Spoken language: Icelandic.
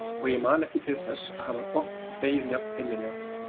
Og ég man ekki til þess að hafa oft hlegið jafn innilega.